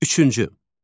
Üçüncü.